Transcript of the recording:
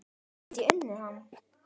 Get ég unnið hann?